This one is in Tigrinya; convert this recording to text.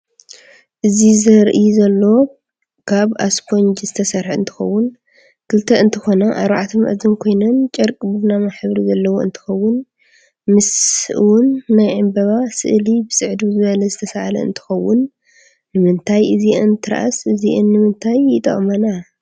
እዚ ዘረአ ዘሎ ካብ ኣስፖንጅ ዝተሰርሐ እንትከውን ክልተ እንትኮና ኣርባዕተ ማኣዝን ኮይነን ጨርቂ ቡናማ ሕብሪ ዘለዎ እንትኮውን ምስ እውን ናይ ዕንበባ ስእሊ ብፂዕድው ዝበለ ዝተሰኣለ እንትከውን ንምንታይ እዚን ትርኣስ እዚኢንምንታይይጠቅማና?